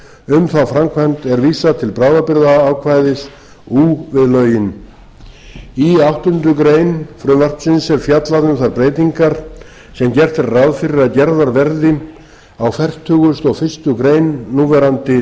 um þá framkvæmd er vísað til bráðabirgðaákvæðis ú við lögin í áttundu greinar frumvarpsins er fjallað um þær breytingar sem gert er ráð fyrir að gerðar verði á fertugasta og fyrstu grein núverandi laga